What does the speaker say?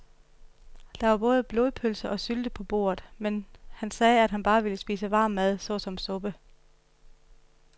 Der var både blodpølse og sylte på bordet, men han sagde, at han bare ville spise varm mad såsom suppe.